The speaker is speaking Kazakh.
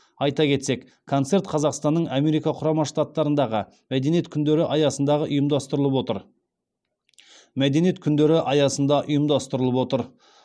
айта кетсек концерт қазақстанның америка құрама штаттарындағы мәдениет күндері аясында ұйымдастырылып отыр